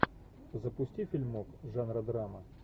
запусти фильмок жанра драма